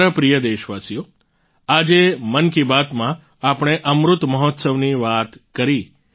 મારા પ્રિય દેશવાસીઓ આજે મન કી બાતમાં આપણે અમૃત મહોત્સવની વાત કરી